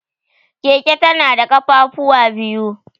Keke tana da ƙafafuwa biyu.